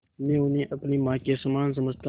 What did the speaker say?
मैं उन्हें अपनी माँ के समान समझता हूँ